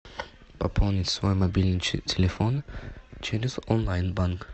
пополнить свой мобильный телефон через онлайн банк